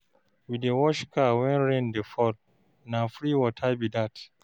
We dey wash car wen rain dey fall, na free water be dat.